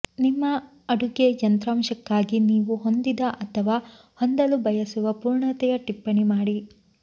ನಿಮ್ಮ ಅಡುಗೆ ಯಂತ್ರಾಂಶಕ್ಕಾಗಿ ನೀವು ಹೊಂದಿದ ಅಥವಾ ಹೊಂದಲು ಬಯಸುವ ಪೂರ್ಣತೆಯ ಟಿಪ್ಪಣಿ ಮಾಡಿ